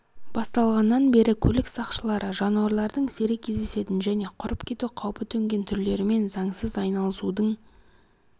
басталғаннан бері көлік сақшылары жануарлардың сирек кездесетін және құрып кету қаупі төнген түрлерімен заңсыз айналысудың